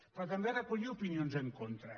però també recollia opinions en contra